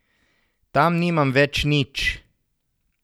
Tam nimam več nič.